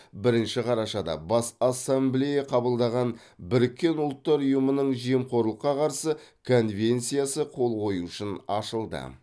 бірінші қарашада бас ассамблея қабылдаған біріккен ұлттар ұйымының жемқорлыққа қарсы конвенциясы қол қою үшін ашылды